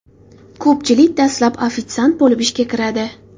Ko‘pchilik dastlab ofitsiant bo‘lib ishga kiradi.